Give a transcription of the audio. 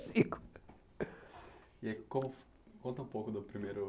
E como conta um pouco do primeiro